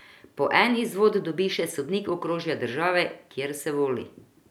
Po en izvod dobi še sodnik okrožja države, kjer se voli.